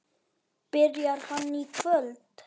Byrjar hann í kvöld?